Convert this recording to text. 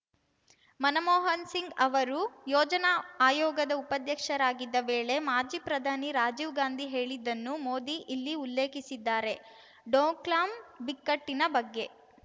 ಮನಮೋಹನ್‌ ಸಿಂಗ್‌ ಅವರು ಯೋಜನಾ ಆಯೋಗದ ಉಪಾಧ್ಯಕ್ಷರಾಗಿದ್ದ ವೇಳೆ ಮಾಜಿ ಪ್ರಧಾನಿ ರಾಜೀವ್‌ ಗಾಂಧಿ ಹೇಳಿದ್ದನ್ನು ಮೋದಿ ಇಲ್ಲಿ ಉಲ್ಲೇಖಿಸಿದ್ದಾರೆ ಡೋಕ್ಲಾಂ ಬಿಕ್ಕಟ್ಟಿನ ಬಗ್ಗೆ